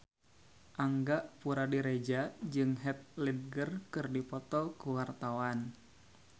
Angga Puradiredja jeung Heath Ledger keur dipoto ku wartawan